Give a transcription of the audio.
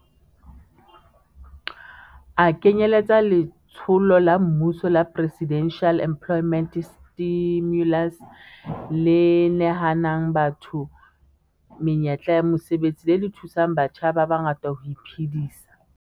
A kenyeletsa letsholo la mmuso la Presidential Employment Stimulus le nehang batho menyetla ya mosebetsi le le thusang batjha ba bangata ho iphedisa.